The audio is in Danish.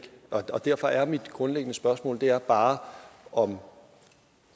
derfor er mit grundlæggende spørgsmål bare om